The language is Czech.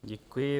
Děkuji.